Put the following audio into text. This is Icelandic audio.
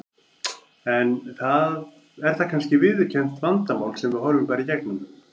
Er það kannski viðurkennt vandamál sem við horfum bara í gegnum?